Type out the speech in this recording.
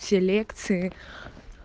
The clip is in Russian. все лекции